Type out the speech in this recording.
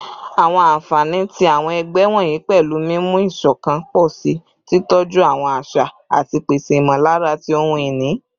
Awọn anfani ti awọn ẹgbẹ wọnyi pẹlu mimu iṣọkan pọ si, titọju awọn aṣa, ati pese imọlara ti ohun-ini